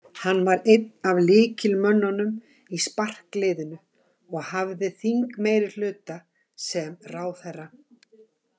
Hann var einn af lykilmönnunum í sparkliðinu og hafði þingmeirihluta sem ráðherra.